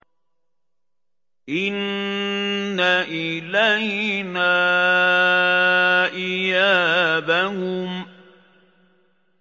إِنَّ إِلَيْنَا إِيَابَهُمْ